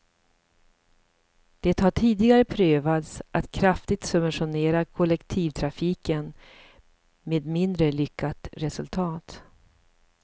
Det har tidigare prövats att kraftigt subventionera kollektivtrafiken, med mindre lyckat resultat.